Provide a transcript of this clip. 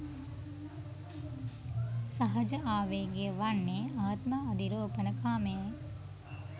සහජ ආවේගය වන්නේ ආත්ම අධිරෝපණකාමයයි.